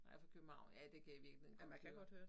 Jeg fra København ja det kan jeg i virkeligheden godt høre